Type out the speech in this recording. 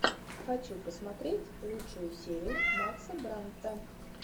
хочу посмотреть лучшую серию макса брандта